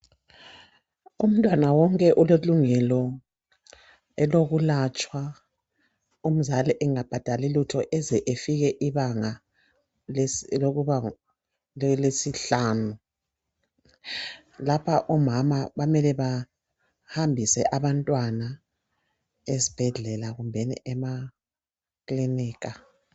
Umntwana wonke ulelungelo elokulatshwa umzali engabhadali lutho eze efike ibanga elesihlanu. Lapha omama bamele bahambise abantwana esibhedlela kumbeni emakilinika.